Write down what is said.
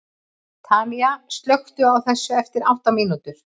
Tanía, slökktu á þessu eftir átta mínútur.